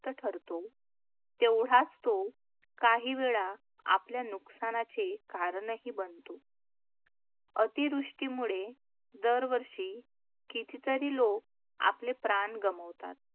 ठरतो, तेवढाच तो काही वेळा आपल्या नुकसानाचे कारणही बनतो. अतिवृष्टीमुळे दरवर्षी कितीतरी लोक आपले प्राण गमावतात,